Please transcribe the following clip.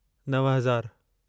नव हज़ारु